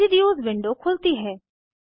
residues window खुलती है